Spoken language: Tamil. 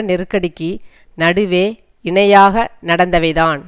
நெருக்கடிக்கு நடுவே இணையாக நடந்தவைதான்